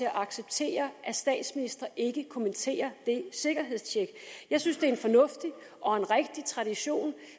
at acceptere at statsministre ikke kommenterer det sikkerhedstjek jeg synes det er en fornuftig og en rigtig tradition